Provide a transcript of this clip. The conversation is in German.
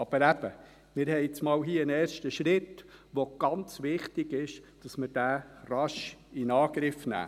Aber eben: Wir haben hier nun einmal einen ersten Schritt, und es ist sehr wichtig, dass wir diesen rasch in Angriff nehmen.